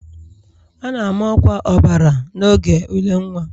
A na-ama ọkwa ọbara n'oge ule nwa